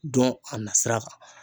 Dɔn a nasira kan